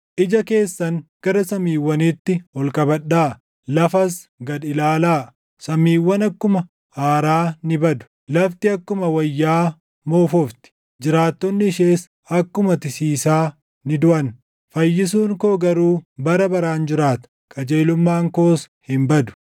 Ija keessan gara samiiwwaniitti ol qabadhaa; lafas gad ilaalaa; samiiwwan akkuma aaraa ni badu; lafti akkuma wayyaa moofofti. Jiraattonni ishees akkuma tisiisaa ni duʼan. Fayyisuun koo garuu bara baraan jiraata; qajeelummaan koos hin badu.